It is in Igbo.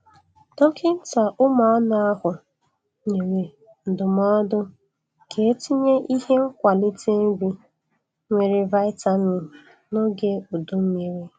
Dọkịnta ụmuanụ ahụ nyere ndụmodụ ka etịnye ihe nkwalịte nrị nwere vitamin n'ọge ụdụmmịrị.